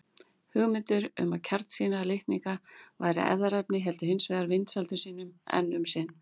Hugmyndir um að kjarnsýra litninga væri erfðaefni héldu hins vegar vinsældum sínum enn um sinn.